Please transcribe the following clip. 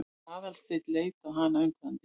Aðalsteinn leit á hana undrandi.